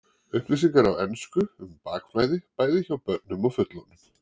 Upplýsingar á ensku um bakflæði, bæði hjá börnum og fullorðnum.